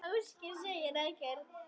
Ásgeir segir ekkert.